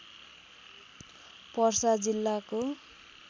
पर्सा जिल्लाको